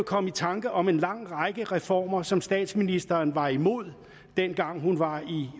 komme i tanker om en lang række reformer som statsministeren var imod dengang hun var i